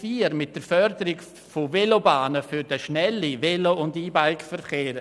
Dieser möchte die Förderung von Velobahnen für den schnellen Velo- und E-Bike-Verkehr.